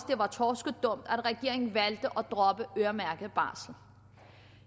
det var torskedumt at regeringen valgte at droppe øremærket barsel